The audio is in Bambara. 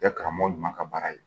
Kɛ karamɔgɔ ɲuman ka baara ye